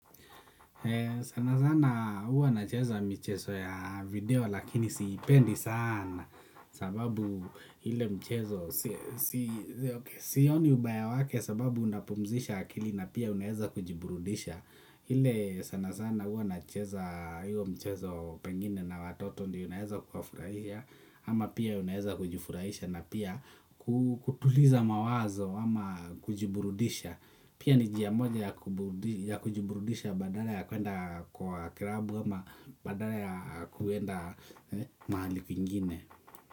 Sana sana huwa na cheza michezo ya video lakini siipendi sana sababu ile mchezo si sioni ubaya wake sababu unapumzisha akili na pia unaeza kujiburudisha. Ile sana sana huwa na cheza hiyo mchezo pengine na watoto ndio naeza kuwa furaisha ama pia unaeza kujifuraisha na pia kutuliza mawazo ama kujiburudisha pia ni njia moja ya kujiburudisha badala ya kuenda kwa klabu ama badala ya kuenda mahali kwingine.